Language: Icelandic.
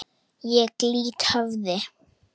Ég lýt höfði.